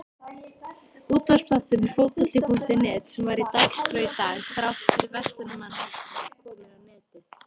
Útvarpsþátturinn Fótbolti.net sem var á dagskrá í dag þrátt fyrir Verslunarmannahelgi er kominn á netið.